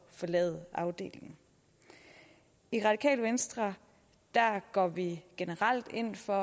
forlade afdelingen i radikale venstre går vi generelt ind for